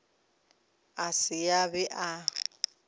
a se a be a